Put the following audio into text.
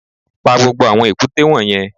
Pa gbogbo àwọn èkúté wọ̀nyẹn